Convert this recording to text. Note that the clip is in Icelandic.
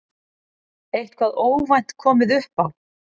Eitthvað óvænt komið upp á?